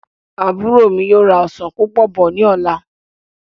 Àbúrò mí yóò ra ọsán púpọ̀ bọ̀ ní ọ̀la